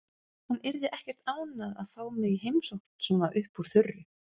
Hún yrði ekkert ánægð að fá mig í heimsókn svona upp úr þurru.